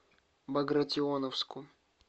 багратионовску